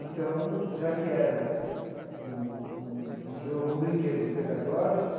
Então, já que era um um um jogo, um brinquedo pedagógico,